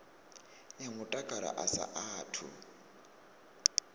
ya mutakalo a sa athu